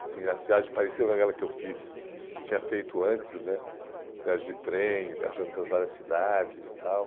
Assim as viagens pareciam com aquelas que eu fiz, uhum, tinha feito antes né, viagem de trem, viajando para várias cidades e tal.